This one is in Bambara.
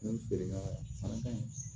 N'olu feerela fana ka ɲi